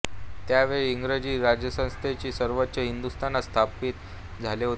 त्या वेळी इंग्रजी राजसत्तेचे वर्चस्व हिंदुस्तानात स्थापीत झाले होते